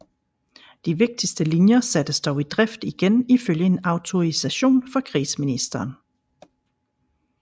De vigtigste linjer sattes dog i drift igen ifølge en autorisation fra krigsministeren